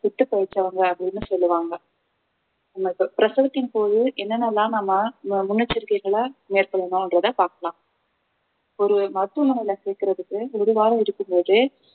செத்துப்பிழைச்சவங்க அப்படின்னு சொல்லுவாங்க உங்களுக்கு பிரசவத்தின் போது என்னென்ன எல்லாம் நம்ம அஹ் முன்னெச்சரிக்கைகளை மேற்கொள்ளணுன்றத பார்க்கலாம் ஒரு மருத்துவமனையில சேர்க்கறதுக்கு ஒரு வாரம் இருக்கும் போதே